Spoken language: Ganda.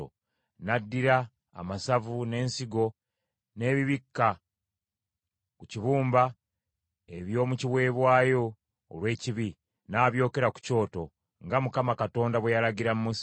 N’addira amasavu n’ensigo n’ebibikka ku kibumba eby’omu kiweebwayo olw’ekibi, n’abyokera ku kyoto, nga Mukama Katonda bwe yalagira Musa.